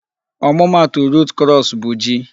Ọmụma atụ root crops bụ ji